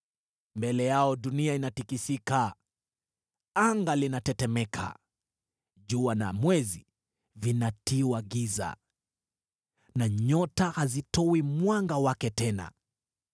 Mbele yao dunia inatikisika, anga linatetemeka, jua na mwezi vinatiwa giza, na nyota hazitoi mwanga wake tena.